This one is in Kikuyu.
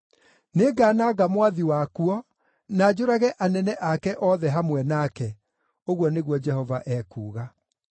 Nĩngananga mwathi wakuo, na njũrage anene ake othe hamwe nake,” ũguo nĩguo Jehova ekuuga.